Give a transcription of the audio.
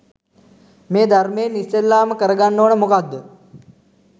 මේ ධර්මයෙන් ඉස්සෙල්ලාම කරගන්න ඕන මොකක්ද?